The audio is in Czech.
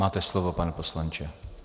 Máte slovo, pane poslanče.